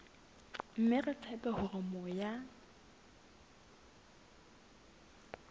mme re tshepa hore moya